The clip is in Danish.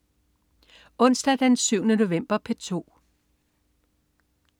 Onsdag den 7. november - P2: